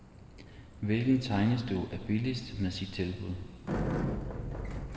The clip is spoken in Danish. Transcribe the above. Hvilken tegnestue er billigst med sit tilbud.